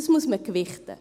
Das muss man gewichten.